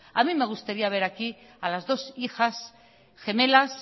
a mi me gustaría ver aquí a las dos hijas gemelas